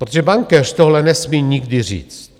Protože bankéř tohle nesmí nikdy říct.